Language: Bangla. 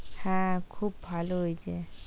হ্যাঁ, খুব ভালো হয়েছে, "